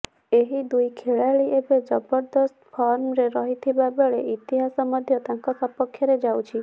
ଏହି ଦୁଇ ଖେଳାଳି ଏବେ ଜବରଦସ୍ତ ଫର୍ମରେ ରହିଥିବା ବେଳେ ଇତିହାସ ମଧ୍ୟ ତାଙ୍କ ସପକ୍ଷରେ ଯାଉଛି